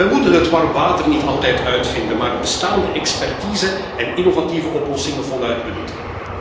We moeten het warm water niet altijd opnieuw uitvinden, maar de bestaande expertise en innovatieve oplossingen voluit benutten.